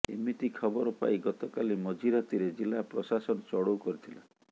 ଏମିତି ଖବର ପାଇ ଗତକାଲି ମଝି ରାତିରେ ଜିଲ୍ଲା ପ୍ରଶାସନ ଚଢ଼ଉ କରିଥିଲା